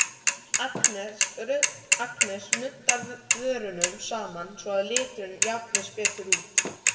Agnes nuddar vörunum saman svo að liturinn jafnist betur út.